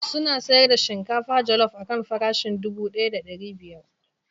Suna sayar da shinkafa jallop akan farashin dubu daya da ɗari biyar.